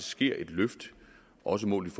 sker et løft også målt